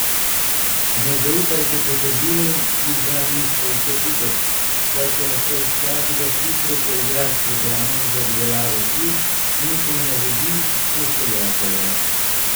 Ne zaupajte potrdilom, ki vam jih pošlje kupec, saj se lahko vsakdo hitro poigra s programom za obdelavo slik in ponaredi pošiljatelja.